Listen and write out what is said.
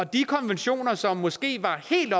de konventioner som måske var helt